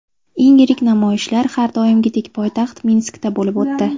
Eng yirik namoyishlar har doimgidek poytaxt Minskda bo‘lib o‘tdi.